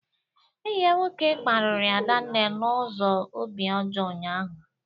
Enyi ya nwoke kparịrị Adanne n'ụzọ obi ọjọọ ụnyaahụ